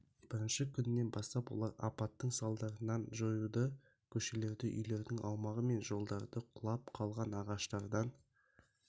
бірінші күннен бастап олар апаттың салдарын жоюда көшелерді үйлердің аумағы мен жолдарды құлап қалған ағаштардан